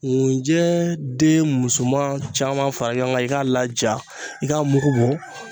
ŋunjɛ den musoman caman fara ɲɔgɔn kan i k'a laja i k'a mugu bɔ